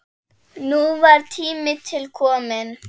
Núna var tími til kominn.